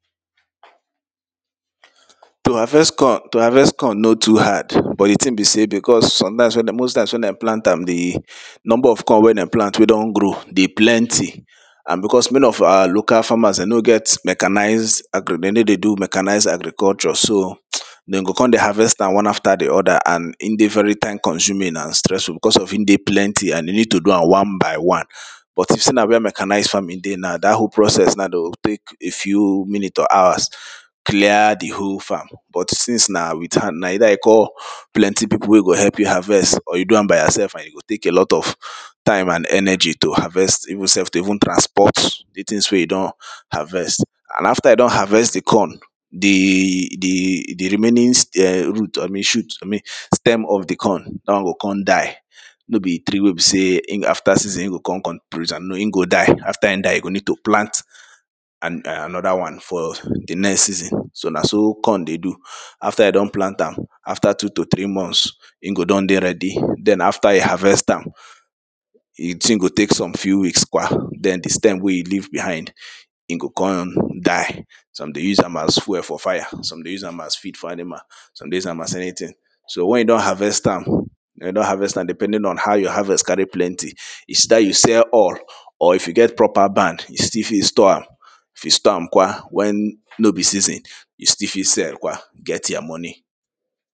to harvest corn, to harvest corn no too hard but di tin be sey because sometimes wey dem most times wen dem plant am di number of corn wey dem plan wey don grow dey plenty and bicos many of our local farmer no get mechanized dey no dey do mechanized agriculture so den go con dey harvest am one after di other and in dey very time consuming and stressful because of in dey plenty and e need to do am one by one. but if sey na wen mechanized farming dey now dat whole process na de o tek a few minut or hours clear di whole farm but since na with hand na either you call plenty pipu wey go help you harvest or you do am by yourelf and e go tek a lot of time and energy to harvest even self to even transport di tins wey you don harvest and after you don harvest di corn, di di remaiing root abi shoot i mean sterm of di corn da won o kon die no be tree wey be sey after season e go kon kon no in go die after e die e go need to plant anoda wan for di next season so na so corn dey do. after e don plant am after two to three month, in go don dey ready den after e harest am. di tin go tek some few weeks kwa den di stem wey e leave behind in go kon die some dey use am as fue fo fire, some dey use am as feed for animal. some dey use am as anything. so wen e don harvest am e e don harvest am depending on how your harvest carry plenty, is either you sell all or you get proper band, you fit still store am if e store am kwa wen no be season, you still fi sell kwa get you money.